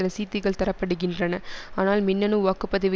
ரசீதுகள் தரப்படுகின்றன ஆனால் மின்னனு வாக்கு பதிவு